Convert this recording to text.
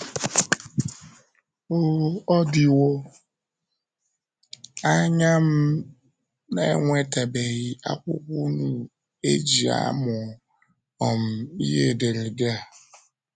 Ọ Ọ dịwo anya m na - enwetabeghị akwụkwọ unu e ji amụ um ihe ederede a